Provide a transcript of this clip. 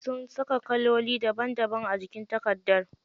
Sun saka kaloli daban daban a jikin takardar.